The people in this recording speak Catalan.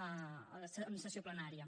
en sessió plenària